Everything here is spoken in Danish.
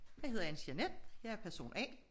Jeg hedder Anne-Jeanette jeg er person A